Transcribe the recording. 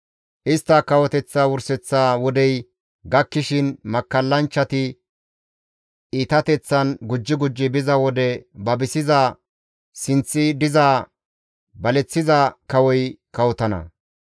«Istta kawoteththa wurseththa wodey gakkishin makkallanchchati iitateththan gujji gujji biza wode babisiza sinththi diza baleththiza kawoy kawotana.